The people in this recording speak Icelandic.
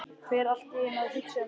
Fer allt í einu að hugsa um Sif.